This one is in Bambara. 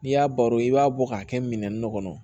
N'i y'a baro i b'a bɔ k'a kɛ minɛn dɔ kɔnɔ